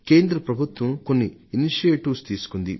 కేంద్ర ప్రభుత్వం కొన్ని చొరవలు తీసుకుంటోంది